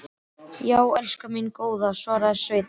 Já, elskan mín góða, svaraði Sveinn.